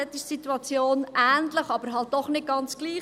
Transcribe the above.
Dort ist die Situation ähnlich, aber halt doch nicht ganz gleich.